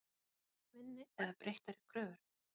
Kannski með minni eða breyttar kröfur?